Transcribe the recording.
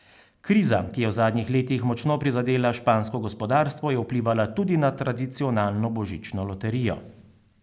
Kriza, ki je v zadnjih letih močno prizadela špansko gospodarstvo, je vplivala tudi na tradicionalno božično loterijo.